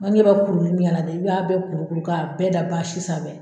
bɛ kuruni dɛ i b'a bɛɛ kurukuru k'a bɛɛ da sanfɛ